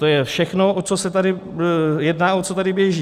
To je všechno, o co se tady jedná, o co tady běží.